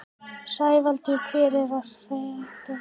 Sævaldur, hvað er að frétta?